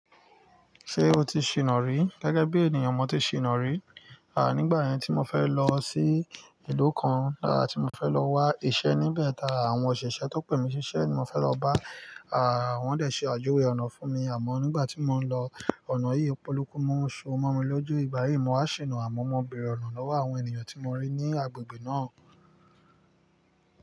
Ṣé o ti ṣìná rí? Gẹ́gẹ́ bí ènìyàn, mo ti ṣìná rí. À, nígbà yẹn tí mo fẹ́ lọ sí ìlú kan, à ti mo fẹ́ lọ wá iṣẹ́ níbẹ̀, ta àwọn òṣìṣẹ́ tó pè mí síṣẹ́ ní mo fẹ́ lọ bá, à, wón dẹ̀ ṣe àjuwé ọ̀nà fún mi. Àmọ́ nígbà tí mo ń lọ, ọ̀nà yìí polókumoṣu mo mi lóju ìgbà yìí, mo wá ṣìná. Àmọ́ mo bẹ̀re ọ̀nà lọ́wọ́ àwọn ènìyàn tí mo rí ní agbègbè náà.